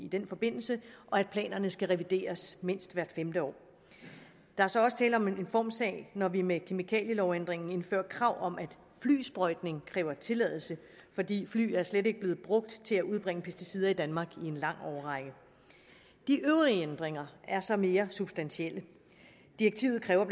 den forbindelse og at planerne skal revideres mindst hvert femte år der er så også tale om en formsag når vi med kemikalielovændringen indfører krav om at flysprøjtning kræver tilladelse fordi fly slet ikke er blevet brugt til at udbringe pesticider i danmark i en lang årrække de øvrige ændringer er så mere substantielle direktivet kræver